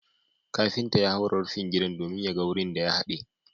kafinta ya haura rufin gidan domin ya ga wurin ya hade